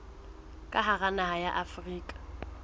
ka hara naha ya afrika